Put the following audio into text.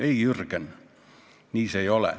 Ei, Jürgen, nii see ei ole.